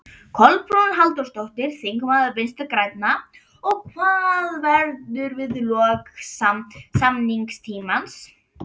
Kolbrún Halldórsdóttir, þingmaður Vinstri-grænna: Og hvað verður við lok samningstímans?